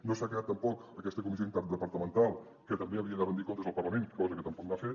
no s’ha creat tampoc aquesta comissió interdepartamental que també havia de rendir comptes al parlament cosa que tampoc no ha fet